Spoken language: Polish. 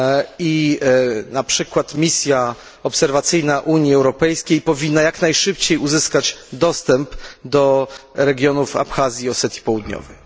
i na przykład misja obserwacyjna Unii Europejskiej powinna jak najszybciej uzyskać dostęp do regionów Abchazji i Osetii Południowej.